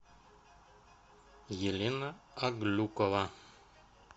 елена аглюкова